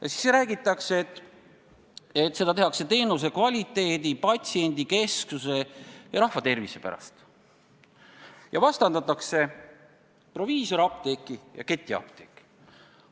Ja siis räägitakse, et seda tehakse teenuse kvaliteedi, patsiendikesksuse ja rahva tervise pärast ning vastandatakse proviisorapteeke ja ketiapteeke.